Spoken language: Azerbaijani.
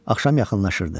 Axşam yaxınlaşırdı.